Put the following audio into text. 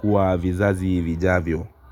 kwa vizazi vijavyo.